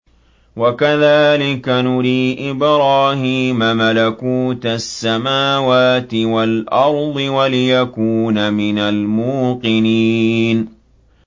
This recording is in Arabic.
وَكَذَٰلِكَ نُرِي إِبْرَاهِيمَ مَلَكُوتَ السَّمَاوَاتِ وَالْأَرْضِ وَلِيَكُونَ مِنَ الْمُوقِنِينَ